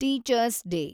teachers day